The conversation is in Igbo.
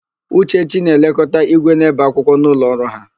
Uchechi na-elekọta ígwè na-ébè akwụkwọ n'ụlọọrụ ha.